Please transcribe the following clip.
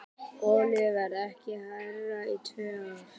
Olíuverð ekki hærra í tvö ár